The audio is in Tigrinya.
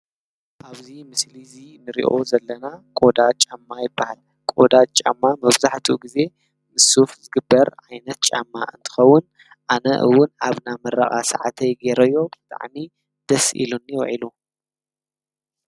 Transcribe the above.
ኣብዚ ምስሊ እዚ እንርእዮ ዘለና ቆዳ ጫማ ይብሃል፤ ቆዳ ጫማ መብዛሕትኡ ግዜ ምስ ሱፍ ዝግበር ዓይነት ጫማ እንትኸዉን ኣነ እዉን ኣብ ናይ ምረቃ ሰዓተይ ገይረዮ ብጣዕሚ ደስ ኢሉኒ ዉዒሉ ።